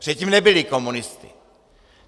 Předtím nebyli komunisty.